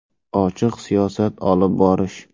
Ochiq siyosat olib borish.